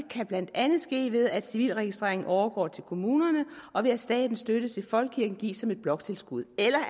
kan blandt andet ske ved at civilregistreringen overgår til kommunerne og ved at statens støtte til folkekirken gives som et bloktilskud eller